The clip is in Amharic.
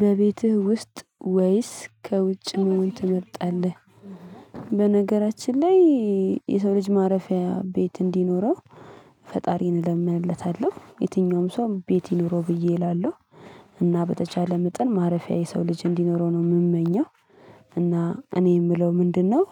በቤትህ ውስጥ ወይስ ከውጭ መሆን ትመርጣለህ? በነገራችን ላይ የሰው ልጅ ማረፊያ ቤት እንዲኖረው ፈጣሪን እለምንለታለሁ የትኛውም ሰው ቤት ይኑሮ ብዬ እላለሁ። እና በተቻለ መጠን ማረፊያ የሰው ልጅ እንዲኖረው ነው የምመኘው። እና እኔ የምለው ምንድነው?